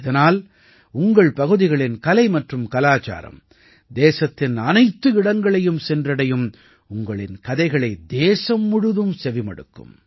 இதனால் உங்கள் பகுதிகளின் கலை மற்றும் கலாச்சாரம் தேசத்தின் அனைத்து இடங்களையும் சென்றடையும் உங்களின் கதைகளை தேசம் முழுவதும் செவிமடுக்கும்